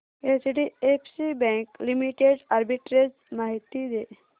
HDFC bank limited arbitrage माहिती दे